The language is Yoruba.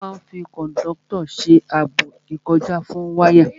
Wọ́n máa n fi kòndọ́tọ̀ ṣe ààbò ìkọjá fún wáyà